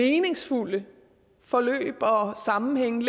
meningsfulde forløb og sammenhænge